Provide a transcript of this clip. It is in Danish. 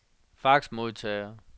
faxmodtager